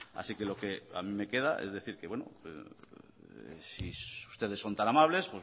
así que lo que a mí me queda es decir que si ustedes son tan amables